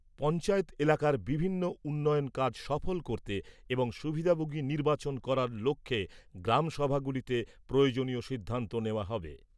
পঞ্চায়েত এলাকার বিভিন্ন উন্নয়ন কাজ সফল করতে এবং সুবিধাভোগী নির্বাচন করার লক্ষ্যে গ্রাম সভাগুলিতে প্রয়োজনীয় সিদ্ধান্ত নেওয়া হবে।